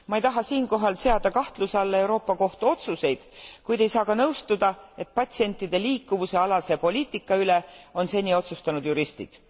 Ma ei taha siinkohal seada kahtluse alla Euroopa Kohtu otsuseid, kuid ei saa ka nõustuda, et patsientide liikuvuse alase poliitika üle on seni otsustanud juristid.